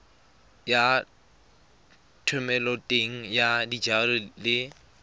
ya thomeloteng ya dijalo le